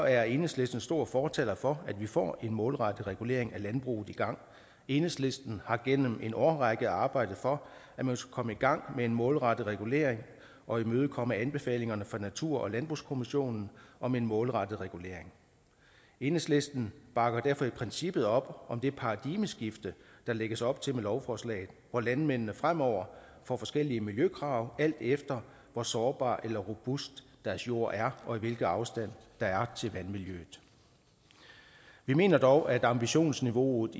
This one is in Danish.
er enhedslisten stor fortaler for at vi får en målrettet regulering af landbruget i gang enhedslisten har gennem en årrække arbejdet for at man skulle komme i gang med en målrettet regulering og imødekomme anbefalingerne fra natur og landbrugskommissionen om en målrettet regulering enhedslisten bakker derfor i princippet op om det paradigmeskift der lægges op til med lovforslaget hvor landmændene fremover får forskellige miljøkrav alt efter hvor sårbar eller robust deres jord er og hvilken afstand der er til vandmiljøet vi mener dog at ambitionsniveauet